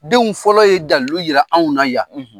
Denw fɔlɔ ye dalliu jira anw na yan